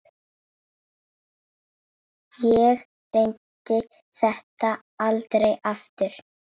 Ég reyndi þetta aldrei aftur.